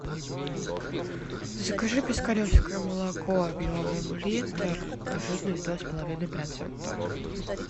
закажи пискаревское молоко объемом литр жирность два с половиной процента